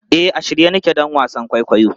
E, a shirye nake don wasan kwaikwayon.